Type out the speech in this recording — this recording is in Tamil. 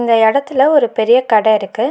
இந்த எடத்துல ஒரு பெரிய கட இருக்கு.